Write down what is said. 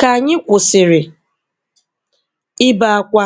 Ka anyị kwụsịrị ibe akwa,